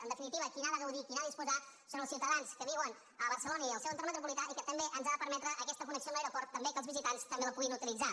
en definitiva qui n’ha de gaudir qui n’ha de disposar són els ciutadans que viuen a barcelona i al seu entorn metropolità i que també ens ha de permetre aquesta connexió amb l’aeroport també que els visitants també la puguin utilitzar